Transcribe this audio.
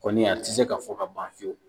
Kɔni a ti se ka fɔ ka ban fiyewu